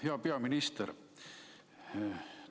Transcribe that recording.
Hea peaminister!